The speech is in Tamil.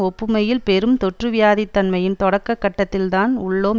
ஒப்புமையில் பெரும் தொற்றுவியாதிதன்மையின் தொடக்க கட்டத்தில்தான் உள்ளோம்